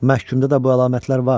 Məhkumda da bu əlamətlər var.